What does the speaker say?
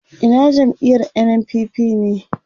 Ina jam'iyar NNPP ne